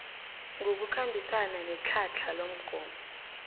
ngokukhambisana netlhatlha lomgomo